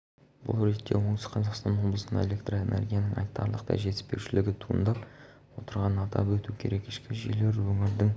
бұл ретте оңтүстік қазақстан облысында электроэнергияның айтарлықтай жетіспеушілігі туындап отырғанын атап өту керек ішкі жүйелер өңірдің